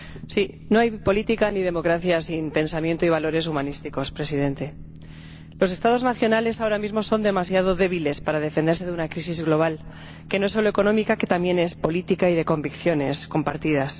Señor Presidente, no hay política ni democracia sin pensamiento y valores humanísticos. Los Estados nacionales, ahora mismo, son demasiado débiles para defenderse de una crisis global que no es solo económica, sino también política y de convicciones compartidas.